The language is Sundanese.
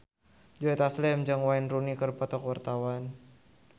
Joe Taslim jeung Wayne Rooney keur dipoto ku wartawan